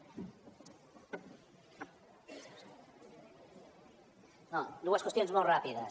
no dues qüestions molt ràpides